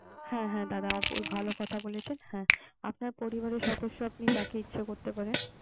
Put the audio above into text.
হ্যাঁ হ্যাঁ হ্যাঁ দাদা আপনি ভালো কথা বলেছে। আপনার পরিবারের সদস্য আপনি যাকে ইচ্ছা করতে পারেন।